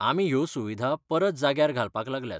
आमी ह्यो सुविधा परत जाग्यार घालपाक लागल्यात.